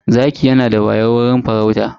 Zaki yanada wayau wajen farauta.